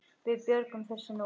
Við björgum þessu nú.